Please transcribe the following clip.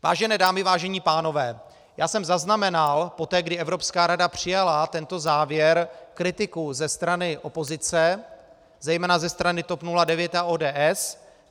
Vážené dámy, vážení pánové, já jsem zaznamenal poté, kdy Evropská rada přijala tento závěr, kritiku ze strany opozice, zejména ze strany TOP 09 a ODS.